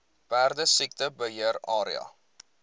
perdesiekte beheer area